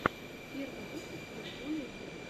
первый выпуск питбуля виво